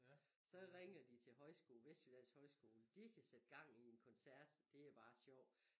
Så ringer de til højskole Vestjyllands højskole de kan sætte gang i en koncert det er bare sjov